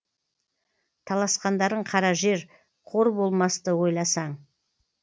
таласқандарың кара жер қор болмасты ойласаң